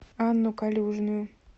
анну калюжную